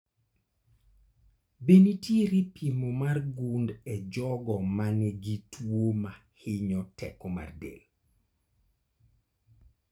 Be nitiere pimo mar gund e jogo manigi tuo mahinyo teko mar del ?